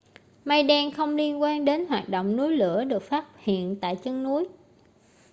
mây đen không liên quan đến hoạt động núi lửa được phát hiện tại chân núi